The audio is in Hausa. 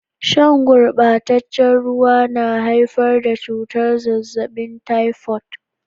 Sha gurbataccen ruwa na haifar da cutar zazzabin taifot.